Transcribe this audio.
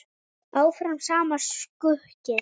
Áfram sama sukkið?